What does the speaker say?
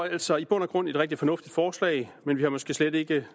altså i bund og grund et rigtig fornuftigt forslag men vi var måske slet ikke